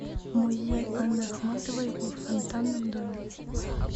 музей анны ахматовой в фонтанном доме